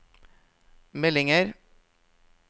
meldinger